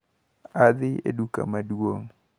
Adhi e duka maduong`.